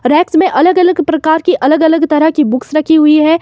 Racks में अलग अलग प्रकार की अलग अलग तरह की बुक्स रखी हुई हैं।